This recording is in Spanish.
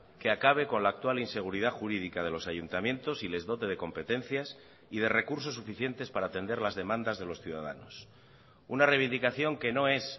que acabe con la actual inseguridad jurídica de los ayuntamientos y les dote de competencias y de recursos suficientes para atender las demandas de los ciudadanos una reivindicación que no es